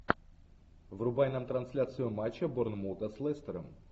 врубай нам трансляцию матча борнмута с лестером